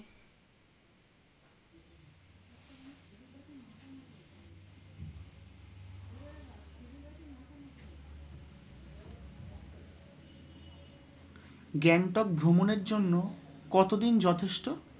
গ্যাংটক ভ্রমণের জন্য কতদিন যথেষ্ট?